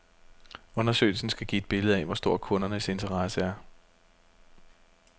Undersøgelsen skal give et billede af, hvor stor kundernes interesse er.